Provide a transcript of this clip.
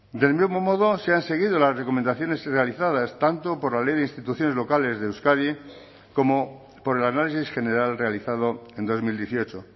del mismo modo se han seguido las recomendaciones realizadas tanto por la ley de instituciones locales de euskadi como por el análisis general realizado en dos mil dieciocho